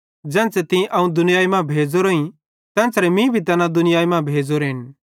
ज़ेन्च़रे तीं अवं दुनियाई मां भेज़ोरोईं तेन्च़रे मीं भी तैना दुनियाई मां भेज़ोरेन